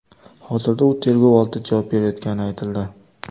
Hozirda u tergov oldida javob berayotgani aytildi.